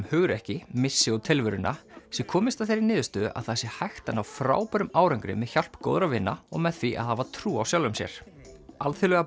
hugrekki missi og tilveruna sé komist að þeirri niðurstöðu að það sé hægt að ná frábærum árangri með hjálp góðra vina og með því að hafa trú á sjálfum sér alþjóðlega